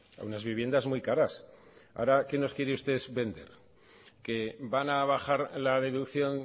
a unas viviendas muy caras ahora que nos quieren ustedes vender que van a bajar la deducción